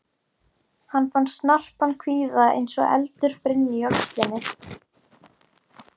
Hann fann snarpan sviða eins og eldur brynni í öxlinni.